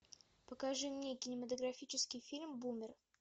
покажи мне кинематографический фильм бумер